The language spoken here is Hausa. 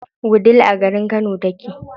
Wudil a garin Kano take.